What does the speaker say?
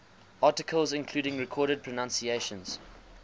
articles including recorded pronunciations